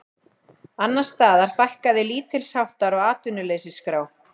Annars staðar fækkaði lítilsháttar á atvinnuleysisskrá